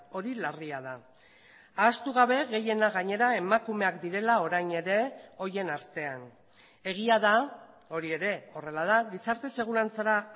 hori larria da ahaztu gabe gehiena gainera emakumeak direla orain ere horien artean egia da hori ere horrela da gizarte segurantzara